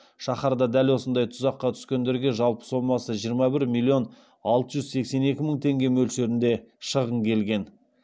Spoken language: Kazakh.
шаһарда дәл осындай тұзаққа түскендерге жалпы сомасы жиырма бір миллион алты жүз сексен екі мың теңге мөлшерінде шығын келген